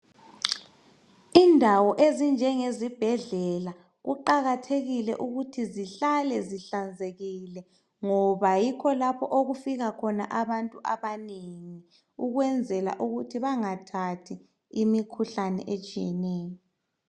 Indawo ezinjengezibhedlela kuqakathekile ukuthi zihlale zihlanzekile ngoba yikho lapho okufika khona abantu abanengi ukwenzela ukuthi bangathathi imikhuhlane etshiyeneyo.